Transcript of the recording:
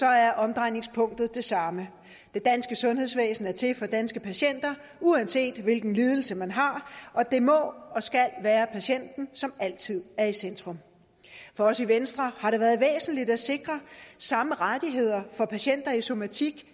er omdrejningspunktet det samme det danske sundhedsvæsen er til for danske patienter uanset hvilken lidelse man har og det må og skal være patienten som altid er i centrum for os i venstre har det været væsentligt at sikre samme rettigheder for patienter i somatikken